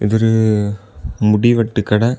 இது ஒரு முடி வெட்டு கட.